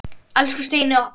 Elsku Steini okkar.